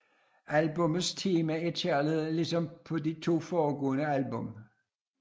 Albummets tema er kærlighed ligesom på de to forgående albummer